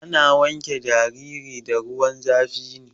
Ana wanke jariri da ruwan zafi ne.